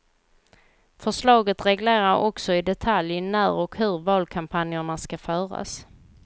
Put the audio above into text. Förslaget reglerar också i detalj när och hur valkampanjerna ska föras.